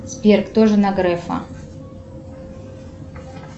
сбер кто жена грефа